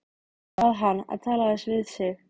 Bað hann að tala aðeins við sig.